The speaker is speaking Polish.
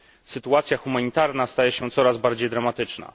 Sytuacja humanitarna staje się coraz bardziej dramatyczna.